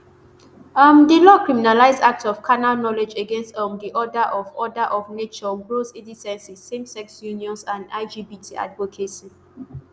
um di law criminalise acts of carnal knowledge against um di order of order of nature gross indecency samesex unions and lgbt advocacy